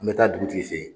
An bɛ taa dugutigi fɛ yen